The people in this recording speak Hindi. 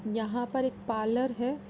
यहाँ पर एक पार्लर है।